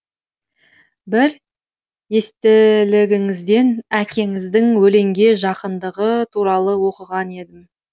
бір естелігіңізден әкеңіздің өлеңге жақындығы туралы оқыған едім